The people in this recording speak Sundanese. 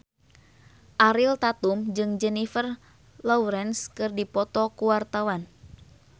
Ariel Tatum jeung Jennifer Lawrence keur dipoto ku wartawan